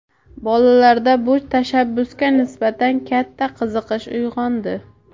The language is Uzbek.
Bolalarda bu tashabbusga nisbatan katta qiziqish uyg‘ondi.